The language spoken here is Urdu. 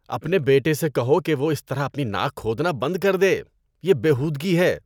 اپنے بیٹے سے کہو کہ وہ اس طرح اپنی ناک کھودنا بند کر دے۔ یہ بے ہودگی ہے۔